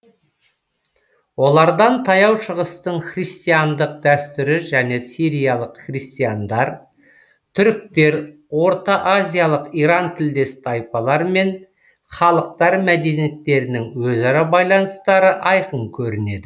олардан таяу шығыстың христиандық дәстүрі және сириялық христиандар түріктер ортаазиялық иран тілдес тайпалар мен халықтар мәдениеттерінің өзара байланыстары айқын көрінеді